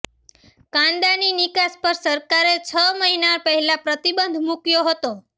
કાંદાની નિકાસ પર સરકારે છ મહિના પહેલા પ્રતિબંધ મૂક્યો હતો